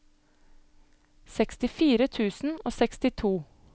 sekstifire tusen og sekstito